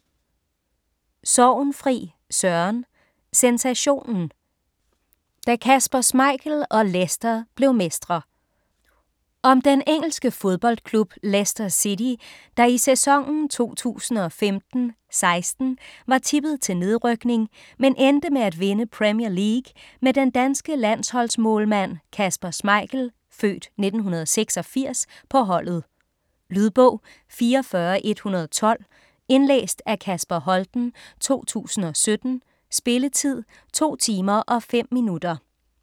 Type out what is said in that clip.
Sorgenfri, Søren: Sensationen: da Kasper Schmeichel og Leicester blev mestre Om den engelske fodboldklub Leicester City, der i sæsonen 2015/16 var tippet til nedrykning, men endte med at vinde Premier League med den danske landsholdsmålmand Kasper Schmeichel (f. 1986) på holdet. Lydbog 44112 Indlæst af Kasper Holten, 2017. Spilletid: 2 timer, 5 minutter.